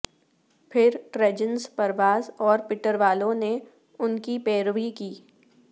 پھر ٹریجنز پرواز اور پٹروالو نے ان کی پیروی کی